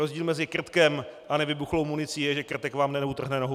Rozdíl mezi krtkem a nevybuchlou municí je, že krtek vám neutrhne nohu.